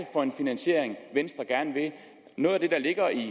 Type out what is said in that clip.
for en finansiering venstre gerne vil have noget af det der ligger i